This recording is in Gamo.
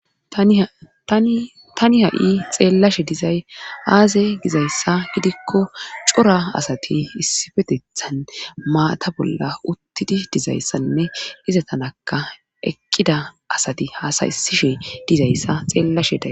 tani ha7i xeellashe dizay aaze gizayssa gidikko cora asati issifetethan maata bolla uttidi dizayssanne iza tanaka eqqida asati haasaysishe dizayssa xeellashe daa